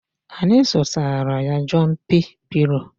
Anyị zụtara ya Jọmpị pịlo